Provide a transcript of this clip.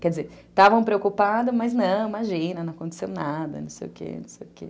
Quer dizer, estavam preocupados, mas não, imagina, não aconteceu nada, não sei o quê, não sei o quê.